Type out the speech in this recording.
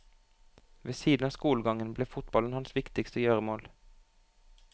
Ved siden av skolegangen ble fotballen hans viktigste gjøremål.